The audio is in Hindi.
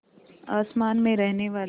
आसमान में रहने वाली